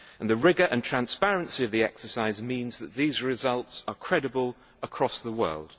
and the rigour and transparency of the exercise mean that these results are credible across the world.